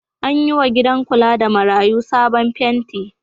An yiwa gida kula da marayu sabon fenti.